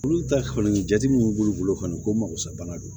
Olu ta kɔni jate min b'u bolo kɔni ko magosɛbana do